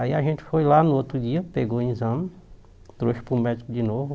Aí a gente foi lá no outro dia, pegou o exame, trouxe para o médico de novo.